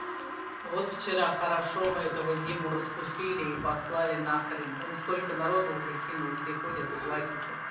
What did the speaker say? вот вчера хорошо мы этого диму раскусили и послали на хрен он столько народу уже кинул все ходят и плачутся